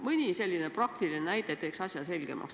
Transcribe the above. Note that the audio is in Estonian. Mõni selline praktiline näide teeks asja selgemaks.